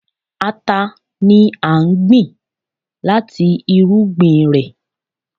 Ata ni a ń gbìn láti irúgbìn rẹ̀.